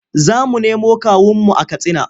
Za mu nemo kawunmu a Katsina.